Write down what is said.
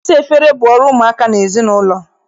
Ịsa efere bụ ọrụ ụmụaka n'ezinaụlọ.